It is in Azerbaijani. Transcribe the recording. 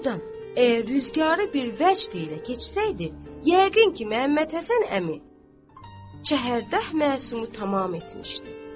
Doğrudan, əgər rüzgarı bir vəcd ilə keçsəydi, yəqin ki, Məhəmməd Həsən əmi Çəhərdəh məsumu tamam etmişdi.